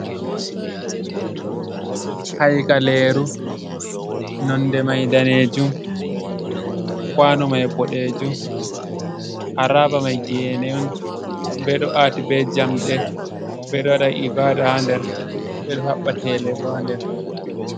Haikaleeruu, nonde mai daneejuum, kwanoo mai booɗeejuum, harabaa mai genee on, ɓeeɗoo ati be jamdee ɓeeɗoo waɗaa ibaadaa ha nder, ɓeɗɗoo haɓaa teelee boo haa nder.